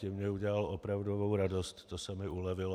Tím mně udělal opravdovou radost, to se mi ulevilo.